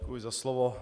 Děkuji za slovo.